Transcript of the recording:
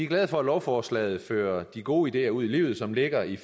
glade for at lovforslaget fører de gode ideer ud i livet som ligger i